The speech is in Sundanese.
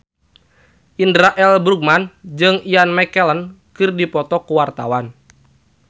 Indra L. Bruggman jeung Ian McKellen keur dipoto ku wartawan